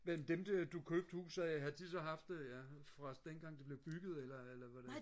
men dem du du købte huset af havde de så haft det ja fra dengang det blev bygget eller eller hvordan